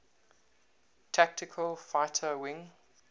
tactical fighter wing